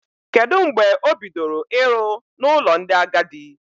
Kedụ mgbe o bidoro ịrụ n'ụlọ ndị agadi?